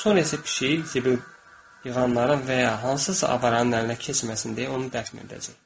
Sonra isə pişiyi zibil yığanların və ya hansısa avaranın əlinə keçməsin deyə onu dəfn edəcək.